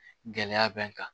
Gɛlɛya bɛ n kan